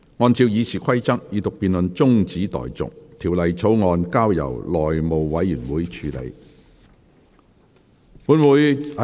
按照《議事規則》，二讀辯論中止待續，《條例草案》交由內務委員會處理。